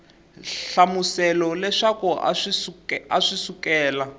hlamusela leswaku a swi sukela